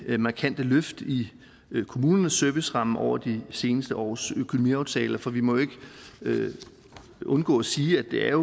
ved markante løft i kommunernes serviceramme over de seneste års økonomiaftaler for vi må jo ikke undgå at sige at det er